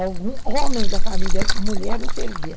Algum homem da família mulher não servia.